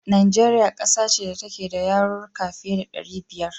Najeriya ƙasa ce da take da yarurruka fiye da ɗari biyar.